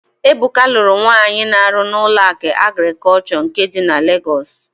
Ebuka lụrụ nwaanyị na-arụ na Ụlọakụ Agrịkọlshọ nke dị na Legọs.